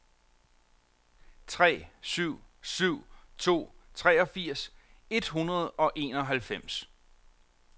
tre syv syv to treogfirs et hundrede og enoghalvfems